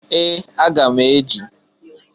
Ee! Aga m eji.